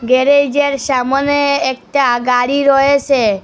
গ্যারেজের সামোনে একটা গাড়ি রয়েসে।